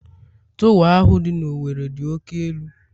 Torwa ahu dị na Owerri dị oke elu